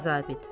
İkinci zabit.